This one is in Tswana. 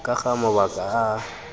ka ga mabaka a a